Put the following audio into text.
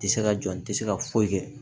Tɛ se ka jɔ n tɛ se ka foyi kɛ